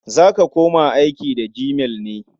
Za ka koma aiki da gmail ne?